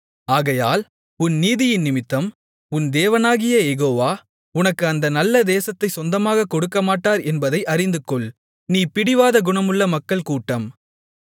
ஆகையால் உன் நீதியினிமித்தம் உன் தேவனாகிய யெகோவா உனக்கு அந்த நல்ல தேசத்தைச் சொந்தமாகக் கொடுக்கமாட்டார் என்பதை அறிந்துகொள் நீ பிடிவாத குணமுள்ள மக்கள் கூட்டம்